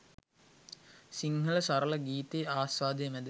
සිංහල සරල ගීතයේ ආස්වාදය මැද